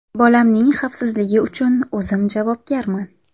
Bolamning xavfsizligi uchun o‘zim javobgarman.